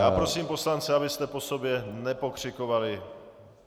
Já prosím poslance, abyste po sobě nepokřikovali.